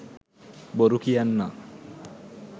බොරු කියන්නා